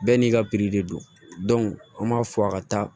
Bɛɛ n'i ka de don an b'a fɔ a ka taa